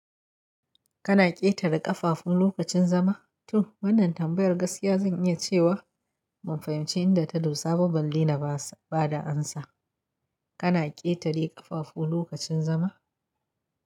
Kana ƙetare ƙafafun lokacin zama? To wannan tambayar gaskiya zan iya cewa ban fahimci inda ta dosa, ba balle na ba da amsa. Kana ƙetare ƙafafu lokacin zama?